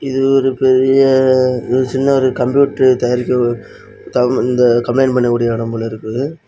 இது ஒரு பெரிய அஅ சின்ன ஒரு கம்ப்யூட்டர் தயாரிக்கற ஒரு இந்த கம்பளைண்ட் பண்ண கூடிய இடம் போல இருக்குது.